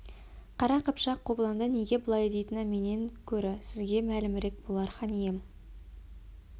қара қыпшақ қобыланды неге былай дейтіні менен көрі сізге мәлімірек болар хан ием